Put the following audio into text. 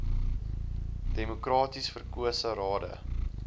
demokraties verkose rade